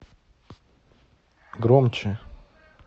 громче